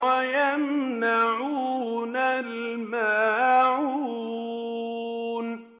وَيَمْنَعُونَ الْمَاعُونَ